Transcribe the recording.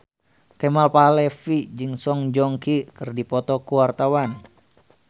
Kemal Palevi jeung Song Joong Ki keur dipoto ku wartawan